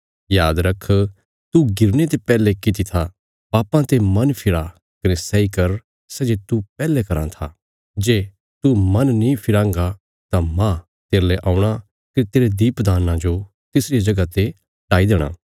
याद रख तू गिरने ते पैहले कित्ती था पापां ते मन फिरा कने सैई कर सै जे तू पैहले कराँ था जे तू मन नीं फिराँगा तां मांह तेरले औणा कने तेरे दीपदान्ना जो तिसरिया जगह ते हटाई देणा